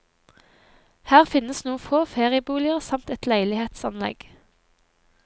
Her finnes noen få ferieboliger samt et leilighetsanlegg.